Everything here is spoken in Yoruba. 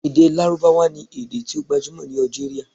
Ede Larubawa ni ede ti o gbajumo ni Algeria